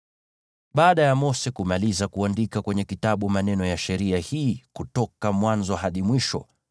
Baada ya Mose kumaliza kuandika kwenye kitabu maneno ya sheria hii kutoka mwanzo hadi mwisho,